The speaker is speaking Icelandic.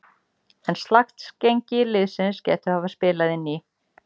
En slakt gengi liðsins gæti hafa spilað inn í.